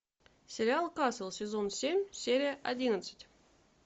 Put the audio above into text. сериал касл сезон семь серия одиннадцать